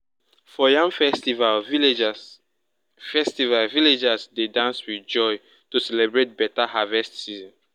for yam festival villagers festival villagers dey dance with joy to celebrate better harvest season.